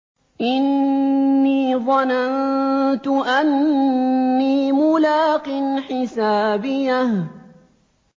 إِنِّي ظَنَنتُ أَنِّي مُلَاقٍ حِسَابِيَهْ